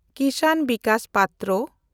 ᱠᱤᱥᱟᱱ Vikas ᱯᱟᱛᱨᱟ